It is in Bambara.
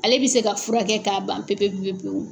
Ale bɛ se ka furakɛ k'a ban pepe pewu!